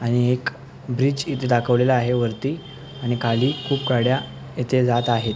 आणि एक ब्रिज इथं दाखवलेल आहे वरती आणि खाली खूप गाड्या येथे जात आहेत.